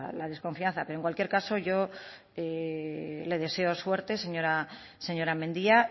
la desconfianza pero en cualquier caso yo le deseo suerte señora mendia